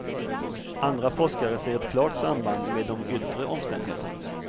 Andra forskare ser ett klart samband med de yttre omständigheterna.